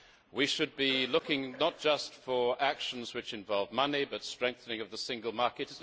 we should be looking not just for actions which involve money, but strengthening of the single market.